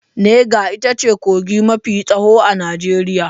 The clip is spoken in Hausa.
Nega ita ce kogi mafi tsawo a Najeriya.